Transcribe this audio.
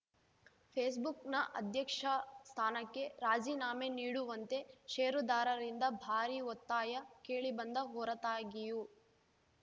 ಫೇಸ್‌ಬುಕ್‌ನ ಅಧ್ಯಕ್ಷ ಸ್ಥಾನಕ್ಕೆ ರಾಜೀನಾಮೆ ನೀಡುವಂತೆ ಷೇರುದಾರರಿಂದ ಭಾರೀ ಒತ್ತಾಯ ಕೇಳಿಬಂದ ಹೊರತಾಗಿಯೂ